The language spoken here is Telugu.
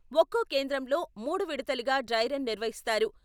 ఒక్కో కేంద్రంలో మూడు విడతలుగా డ్రై రన్ నిర్వ హిస్తారు.